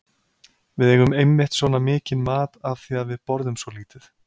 Við eigum einmitt svona mikinn mat af því að við borðum svo lítið.